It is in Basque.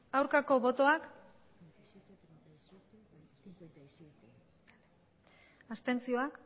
aurkako botoak abstentzioa